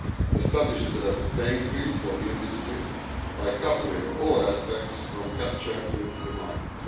It establishes a level playing field for the industry by covering all aspects from capture through to the market.